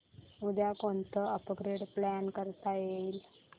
उद्या कोणतं upgrade plan करता येईल